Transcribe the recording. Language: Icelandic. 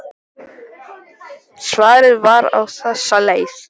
Svarið var á þessa leið